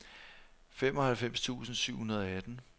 femoghalvfems tusind syv hundrede og atten